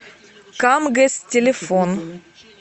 камгэс телефон